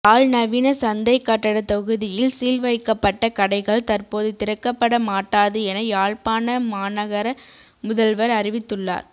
யாழ்நவீன சந்தை கட்டட தொகுதியில் சீல் வைக்கப்பட்ட கடைகள் தற்போது திறக்கப்பட மாட்டாது என யாழ்ப்பாண மாநகர முதல்வர் அறிவித்துள்ளார்